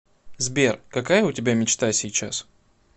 сбер какая у тебя мечта сейчас